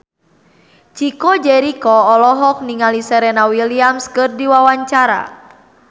Chico Jericho olohok ningali Serena Williams keur diwawancara